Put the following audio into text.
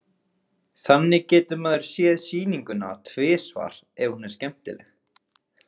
Þannig getur maður séð sýninguna tvisvar ef hún er skemmtileg.